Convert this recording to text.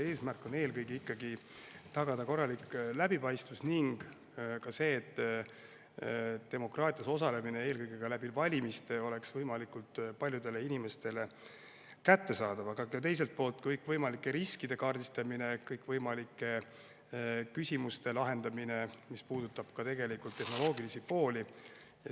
Eesmärk on eelkõige ikkagi tagada korralik läbipaistvus ning ka see, et demokraatias osalemine eelkõige valimiste kaudu oleks võimalikult paljudele inimestele kättesaadav, aga teiselt poolt on vaja kaardistada kõikvõimalikke riske ja lahendada kõikvõimalikke küsimusi, mis puudutavad tehnoloogilist poolt.